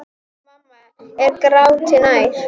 Mamma er gráti nær.